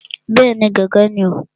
Bẹ́ẹ̀ni, gángan ni o.